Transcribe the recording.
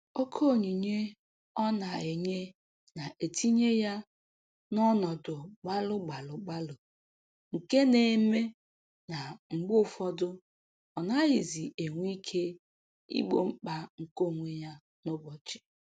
Oke onyinye ọ na-enye na-etinye ya n’ọnọdụ gbalụ gbalụ gbalụ nke na-eme na mgbe ụfọdụ ọ naghịzi enwe ike igbo mkpa nke onwe ya n'ụbọchị.